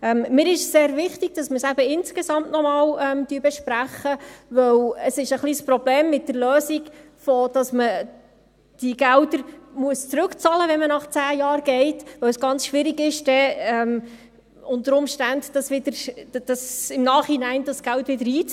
Mir ist es eben sehr wichtig, dass wir es gesamthaft noch einmal besprechen, weil die Lösung, wonach die Gelder zurückbezahlt werden müssen, wenn man nach 10 Jahren geht, ein bisschen ein Problem darstellt, weil es unter Umständen ganz schwierig wäre, das Geld im Nachhinein einzuziehen.